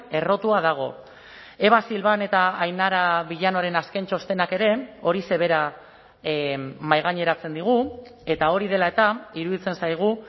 errotua dago eva silván eta ainara villanoren azken txostenak ere horixe bera mahaigaineratzen digu eta hori dela eta iruditzen zaigu